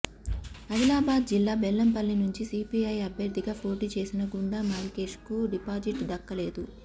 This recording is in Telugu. ఆదిలాబాద్ జిల్లా బెల్లంపల్లి నుంచి సీపీఐ అభ్యర్థిగా పోటీ చేసిన గుండా మల్లేష్కు డిపాజిట్ దక్కలేదు